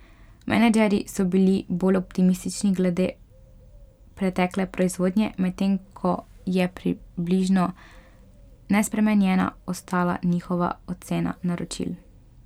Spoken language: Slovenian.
Menedžerji so bili bolj optimistični glede pretekle proizvodnje, medtem ko je približno nespremenjena ostala njihova ocena naročil.